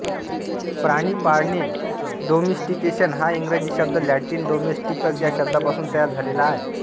प्राणी पाळणे डोमिस्टिकेशन हा इंग्रजी शब्द लॅटिन डोमेस्टिकस या शब्दापासून तयार झालेला आहे